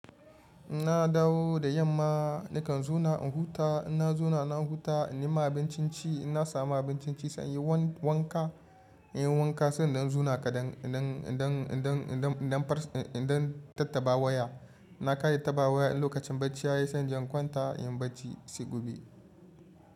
In na dawo da yamma nakan zuna in huta, ina zuna na huta ina yi ma abincin ci, ina samu abincin ci sai in yi wanka, in yi wanka sannan in zuna kaɗan idan, idan, idan, idan, idan, idan, idan tattaba waya. Na kai tattaba waya lokacin bacci ya yi sai in kwanta in bacci sai gobe.